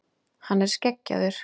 Hann er skeggjaður.